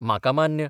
म्हाका मान्य